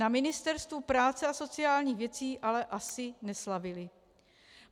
Na Ministerstvu práce a sociálních věcí ale asi neslavili.